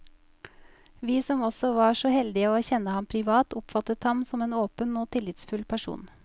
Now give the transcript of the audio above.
Vi som også var så heldige å kjenne ham privat, oppfattet ham som en åpen og tillitsfull person.